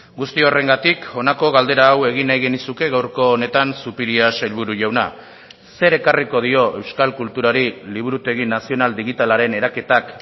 guzti horrengatik honako galdera hau egin nahi genizuke gaurko honetan zupiria sailburu jauna zer ekarriko dio euskal kulturari liburutegi nazional digitalaren eraketak